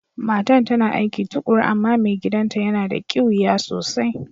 Matan ta na aiki tukuru amma mai gidan'ta ya na da kiwiya sosai.